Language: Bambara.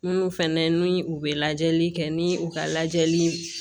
Minnu fɛnɛ ni u bɛ lajɛli kɛ ni u ka lajɛli